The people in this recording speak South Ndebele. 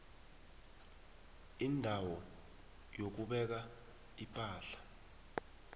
indawo yokubeka ipahla